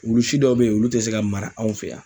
Wulu si dɔw be yen , olu te se ka mara anw fɛ yan.